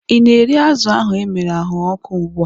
I na-eri azụ ahu emere anwụrụ ọkụ ugbua?